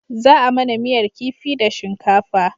Za a mana miyar kifi da shinkafa